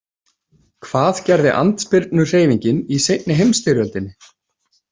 Hvað gerði andspyrnuhreyfingin í seinni heimsstyrjöldinni?